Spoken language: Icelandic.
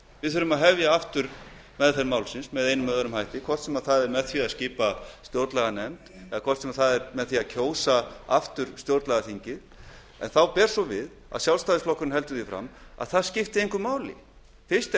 við þurfum að hefja aftur meðferð málsins með einum eða öðrum hætti hvort sem það er með því að skipa stjórnlaganefnd eða með því að kjósa aftur stjórnlagaþing en þá ber svo við að sjálfstæðisflokkurinn heldur því fram að það skipti engu máli fyrst er það